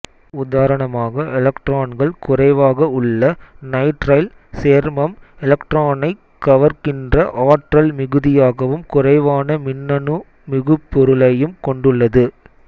உதாரணமாக எலக்ட்ரான்கள் குறைவாக உள்ள நைட்ரைல் சேர்மம் எலக்ட்ரானைக் கவர்கின்ற ஆற்றல் மிகுதியாகவும் குறைவான மின்னணு மிகுபொருளையும் கொண்டுள்ளது